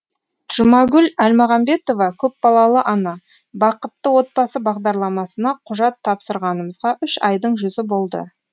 жұмагүл әлмағанбетова көпбалалы ана бақытты отбасы бағдарламасына құжат тапсырғанымызға үш айдың жүзі болды